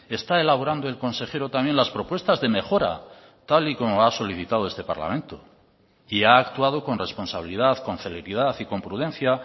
está elaborando el consejero también las propuestas de mejora tal y como ha solicitado este parlamento y ha actuado con responsabilidad con celeridad y con prudencia